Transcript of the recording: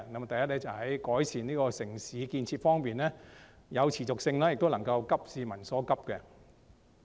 第一，在改善城市建設方面有持續性，並且能夠急市民所急。